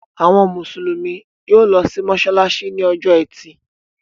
Àwọn Mùsùlùmí yóò lọ sí mọ́ṣáláṣí ní ọjọ́ ẹtì.